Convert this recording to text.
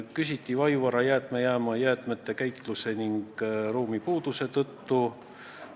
Küsiti Vaivara jäätmejaama jäätmete käitluse ning ruumipuuduse kohta.